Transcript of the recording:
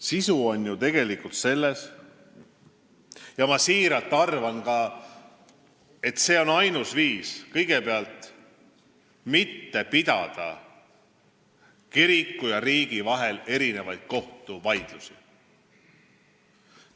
Sisu on ju selles, et – ma siiralt seda arvan – see on kõigepealt ainus viis mitte pidada kiriku ja riigi vahel kohtuvaidlusi.